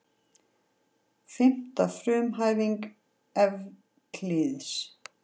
Fimmta frumhæfing Evklíðs.